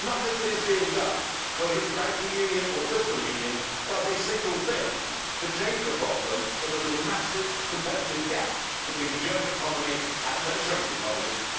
Nothing that is being done, whether it is the banking union or the fiscal union, does a single thing to change the problem that there is a massive gap in terms of competitiveness between the German economy and the Mediterranean economies.